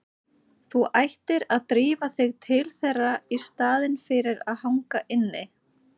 Þú ættir að drífa þig til þeirra í staðinn fyrir að hanga inni.